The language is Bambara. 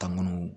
Tanu